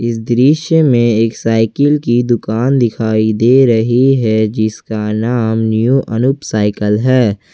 इस दृश्य में एक साइकिल की दुकान दिखाई दे रही है जिसका नाम न्यू अनूप साइकल है।